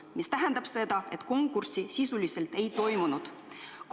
See tähendab seda, et konkurssi sisuliselt ei toimunud.